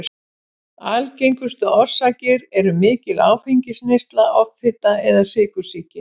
Algengustu orsakir eru mikil áfengisneysla, offita eða sykursýki.